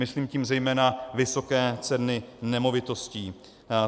Myslím tím zejména vysoké ceny nemovitostí.